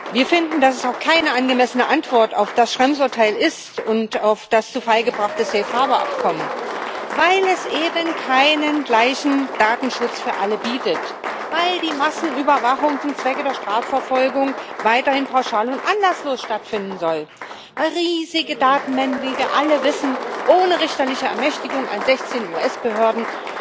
Wir finden, dass das auch keine angemessene Antwort auf das Schrems Urteil und auf das zu Fall gebracht Abkommen ist, weil es eben keinen gleichen Datenschutz für alle bietet, weil die Massenüberwachung zum Zwecke der Strafverfolgung weiterhin pauschal und anderswo stattfinden soll, weil riesige Datenmengen wie wir alle wissen weiter fröhlich frei Haus ohne richterliche Ermächtigung an 16 US Behörden